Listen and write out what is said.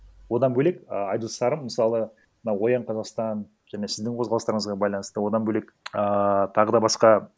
одан бөлек ыыы айдос сарым мысалы мына оян қазақстан және сіздің қозғалыстарыңызға байланысты одан бөлек ыыы тағы да басқа